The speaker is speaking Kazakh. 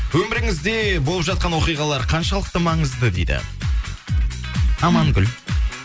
өміріңізде болып жатқан оқиғалар қаншалықты маңызды дейді амангүл